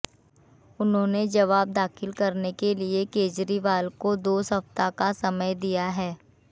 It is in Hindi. उन्होंने जवाब दाखिल करने के लिये केजरीवाल को दो सप्ताह का समय दिया है